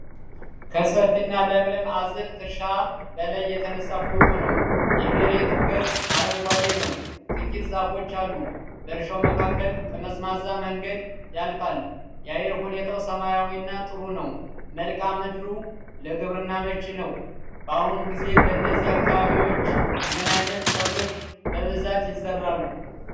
ከሰፊና ለም አዝርዕት እርሻ በላይ የተነሳ ፎቶ ነው። የመሬቱ ገጽ አረንጓዴ ነው። ጥቂት ዛፎች አሉ። በእርሻው መካከል ጠመዝማዛ መንገድ ያልፋል። የአየር ሁኔታው ሰላማዊና ጥሩ ነው። መልክዓ ምድሩ ለግብርና አመቺ ነው። በአሁኑ ጊዜ በእነዚህ አካባቢዎች ምን ዓይነት ሰብሎች በብዛት ይዘራሉ?